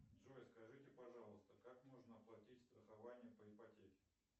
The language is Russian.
джой скажите пожалуйста как можно оплатить страхование по ипотеке